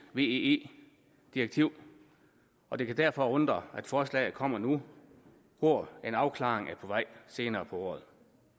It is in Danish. weee direktiv og det kan derfor undre at forslaget kommer nu hvor en afklaring er på vej senere på året